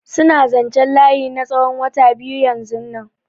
Suna zanchen layi na tsawon wata biyu yanzunnan.